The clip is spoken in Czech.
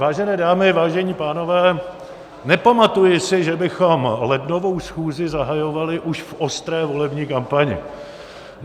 Vážené dámy, vážení pánové, nepamatuji si, že bychom lednovou schůzi zahajovali už v ostré volební kampani.